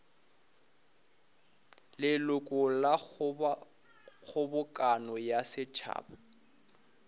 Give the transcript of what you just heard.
leloko la kgobokano ya setšhaba